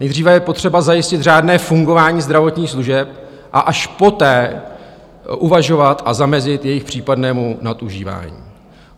Nejdříve je potřeba zajistit řádné fungování zdravotních služeb a až poté uvažovat a zamezit jejich případnému nadužívání.